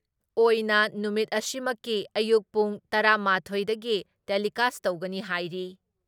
ꯑꯣꯏꯅ ꯅꯨꯃꯤꯠ ꯑꯁꯤꯃꯛꯀꯤ ꯑꯌꯨꯛ ꯄꯨꯡ ꯇꯔꯥ ꯃꯥꯊꯣꯏ ꯗꯒꯤ ꯇꯦꯂꯤꯀꯥꯁ ꯇꯧꯒꯅꯤ ꯍꯥꯏꯔꯤ ꯫